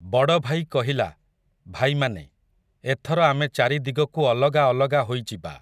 ବଡ଼ଭାଇ କହିଲା, 'ଭାଇମାନେ, ଏଥର ଆମେ ଚାରି ଦିଗକୁ ଅଲଗା ଅଲଗା ହୋଇଯିବା ।